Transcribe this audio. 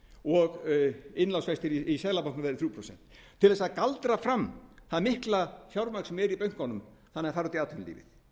og innlánsvextir í seðlabankanum verði þrjú prósent til að galdra fram það mikla fjármagn sem er inni í bönkunum þannig að það fari út í atvinnulífið það